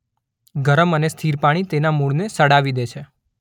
ગરમ અને સ્થિર પાણી તેના મૂળને સડાવી દે છે.